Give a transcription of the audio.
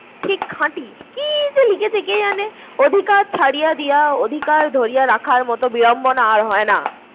ঠিক খাঁটি। কি যে লিখেছে কে জানে? অধিকার ছাড়িয়া দিয়া অধিকার ধরিয়া রাখার মত বিড়ম্বনা আর হয়না